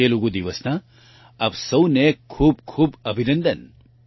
તેલુગુ દિવસના આપ સૌને ખૂબ ખૂબ અભિનંદન